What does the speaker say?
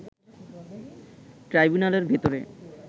ট্রাইবুনালের ভেতরে